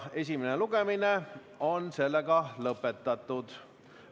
Esimene lugemine on lõpetatud.